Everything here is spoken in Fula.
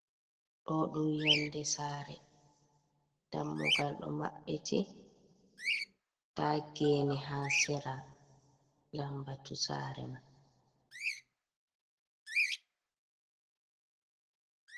Ɗo ɗum yonde sare, dammugal ɗo maɓɓiti nda gene ha sera lambatu sare man.